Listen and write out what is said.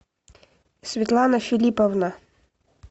светлана филипповна